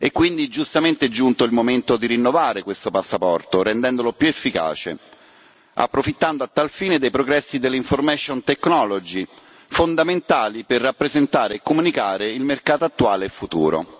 Quindi, giustamente, è giunto il momento di rinnovare questo passaporto, rendendolo più efficace, approfittando a tal fine dei progressi dell'informatica, fondamentali per rappresentare e comunicare il mercato attuale e futuro.